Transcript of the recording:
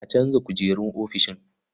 A canza kujerun ofishin.